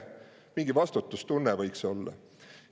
Mingi vastutustunne võiks olla.